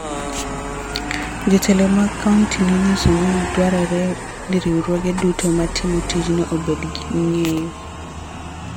Jotelo mag kaonti nonyiso ni dwarore ni riwruoge duto matimo tijno obed gi ng�eyo